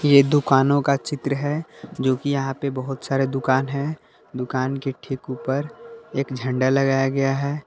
ये दुकानों का चित्र है जो कि यहां पे बहुत सारे दुकान है दुकान के ठीक ऊपर एक झंडा लगाया गया है।